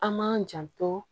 An m'an janto